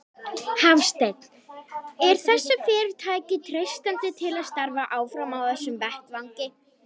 Hafsteinn: Er þessu fyrirtæki treystandi til að starfa áfram á þessum vettvangi?